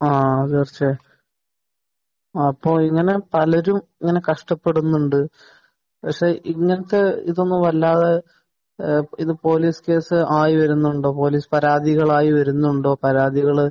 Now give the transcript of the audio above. ആഹ്. അപ്പോൾ ഇങ്ങനെ പലരും ഇങ്ങനെ കഷ്ടപ്പെടുന്നുണ്ട്. പക്ഷെ ഇങ്ങനത്തെ ഇതൊന്നും അല്ലാതെ ഏഹ് ഇത് പോലീസ് കേസ് ആയി വരുന്നുണ്ടോ? പോലീസ് പരാതികളായി വരുന്നുണ്ടോ? പരാതികൾ